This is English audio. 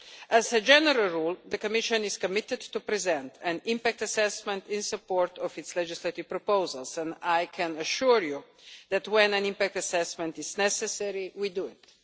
As a general rule, the Commission is committed to present an impact assessment in support of its legislative proposals and I can assure you that when an impact assessment is necessary, we do it.